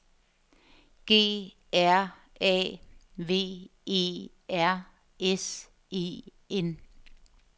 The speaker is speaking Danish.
G R A V E R S E N